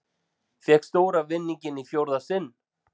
Fékk stóra vinninginn í fjórða sinn